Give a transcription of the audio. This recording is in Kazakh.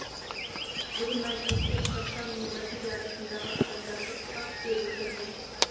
бүгін мәжілісте қазақстан мен бразилия арасындағы адамдарды ұстап беру және